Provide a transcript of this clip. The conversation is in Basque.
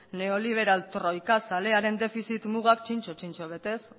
neoliberal troikazalearen defizit mugak zintzo zintzo betez